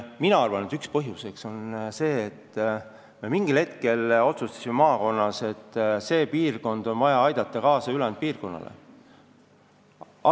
Mina arvan, et üks põhjus on see, et mingil hetkel me otsustasime maakonnas, et see kant on vaja ülejäänud piirkonnale järele aidata.